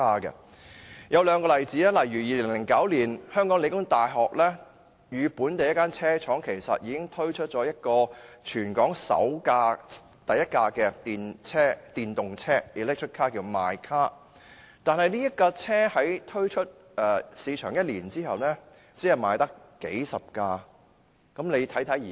2009年，香港理工大學與本地一間車廠已合作推出全港首輛自主研發的電動車 "mycar"， 但產品推出市場一年，只售出了數十輛。